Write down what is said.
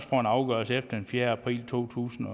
afgørelse efter den fjerde april to tusind